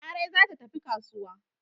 Larai za ta tafi kasuwa.